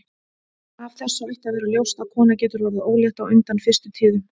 Af þessu ætti að vera ljóst að kona getur orðið ólétt á undan fyrstu tíðum.